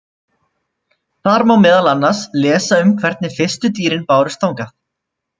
Þar má meðal annars lesa um hvernig fyrstu dýrin bárust þangað.